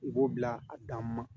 I b'o bila a dan ma